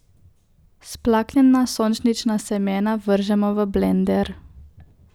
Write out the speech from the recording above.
Splaknjena sončnična semena vržemo v blender.